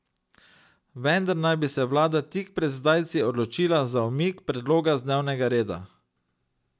Vendar naj bi se vlada tik pred zdajci odločila za umik predloga z dnevnega reda.